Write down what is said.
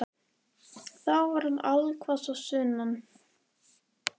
Þá var hann allhvass á sunnan.